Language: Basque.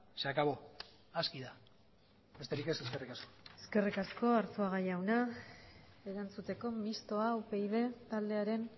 se acabó aski da besterik ez eskerrik asko eskerrik asko arzuaga jauna erantzuteko mistoa upyd taldearen